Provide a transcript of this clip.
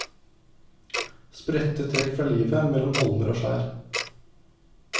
Spredte trekk fra livet mellom holmer og skjær.